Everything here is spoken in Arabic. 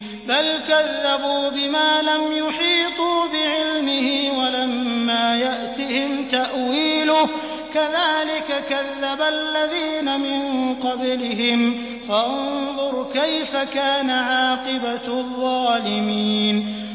بَلْ كَذَّبُوا بِمَا لَمْ يُحِيطُوا بِعِلْمِهِ وَلَمَّا يَأْتِهِمْ تَأْوِيلُهُ ۚ كَذَٰلِكَ كَذَّبَ الَّذِينَ مِن قَبْلِهِمْ ۖ فَانظُرْ كَيْفَ كَانَ عَاقِبَةُ الظَّالِمِينَ